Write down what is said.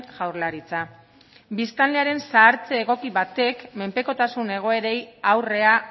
jaurlaritza biztanlearen zahartze egoki batek menpekotasun egoerei aurrea